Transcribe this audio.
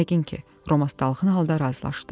Yəqin ki, Romas dalğın halda razılaşdı.